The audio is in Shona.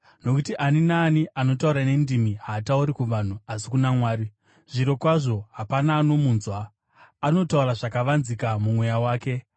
Nokuti ani naani anotaura nendimi haatauri kuvanhu asi kuna Mwari. Zvirokwazvo, hapana anomunzwa; anotaura zvakavanzika mumweya wake.